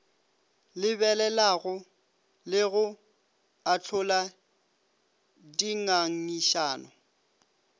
lebelelago le go ahlola dingangišano